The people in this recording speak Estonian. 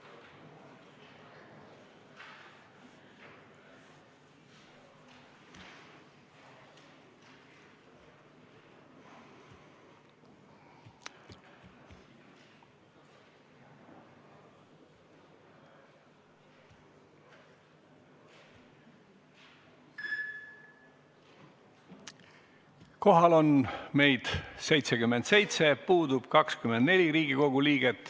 Kohaloleku kontroll Kohal on meid 77, puudub 24.